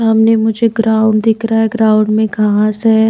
सामने मुझे ग्राउंड दिख रहा है ग्राउंड में घांस है।